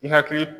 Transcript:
I hakili